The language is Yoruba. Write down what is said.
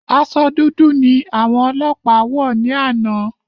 Aṣọ dúdú ni àwọn ọlọpa wọ ni ana